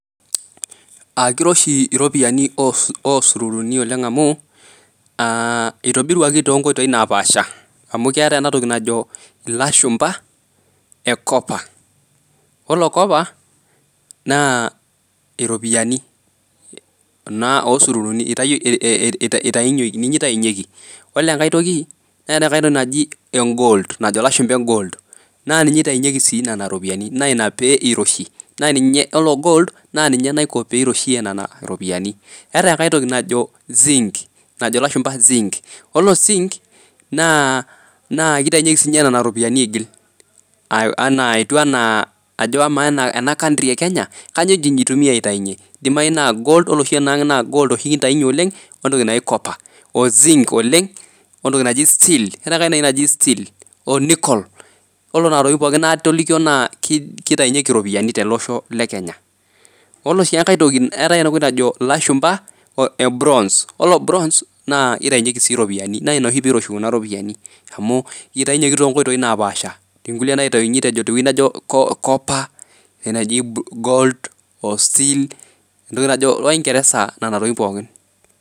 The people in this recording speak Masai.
Keiroshi iropiyiani oo sururuni oleng amuu eitobiruaki too nkoitoi napaasha, amu keatae enatoki najo ilashumba ecopper. Ore copper naa iropiyiani kuna osururuni, eitayoki ninye eitainyeki. Ore engae toki naa enkae toki naji engold najo lashumba engold. Naa ninye aitainyeki sii nena iropiyiani, naa ina pee eiroshi, naa ninye ,ore engold naa ninye naiko pee eiroshie nena iropiyiani. Eatae enkae toki najo Zinc najo ilashumba Zinc. Ore ozinc naa keitanyeki ninye nenia iropiyiani eigil, anaa ajo ama anaa ena country e Kenya kanyio eji eitumiya aitayunye ,eidimai naa Gold, ore oshi naa egold kintainye oleng ontoki naji copper ozink oleng, ontoki naji eseal, eatae entoki naji seal onicoal. Ore nena toktin pooki naatolika naa keitainyeki iropiyiani te losho le Kenya. Ore si enkae toki, eatae entoki najo ilashumba ebronze, Ore bronze naa eitainyeki sii iropiyiani, naa ina oshi peiroshi nena iropiyiani amu eitainyeki too nkoitoi napasha etii nkule naitaini te ntoki najo copper, eatae naji gold, oseal entoki najo oingeresa nena tokitin pooki.